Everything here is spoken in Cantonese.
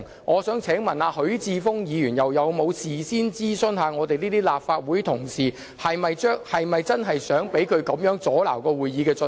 我想問許智峯議員又有否事先諮詢我們這些立法會同事是否真的想他阻撓會議進行？